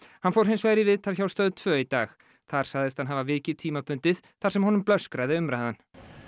hann fór hins vegar í viðtal hjá Stöð tvö í dag þar sagðist hann hafa vikið tímabundið þar sem honum blöskraði umræðan